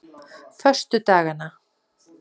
föstudagana